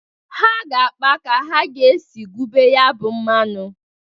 Ha ga-akpa ka a ga-esi gwube ya bụ mmanụ.